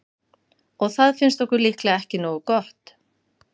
Og það finnst okkur líklega ekki nógu gott.